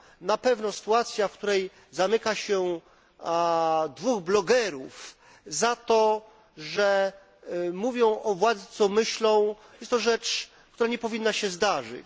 Na pewno sytuacja, w której zamyka się dwóch blogerów za to, że mówią o władzy, co myślą, to rzecz, która nie powinna się zdarzyć.